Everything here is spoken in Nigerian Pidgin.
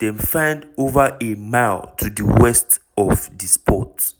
dem find over a mile to di west of di spot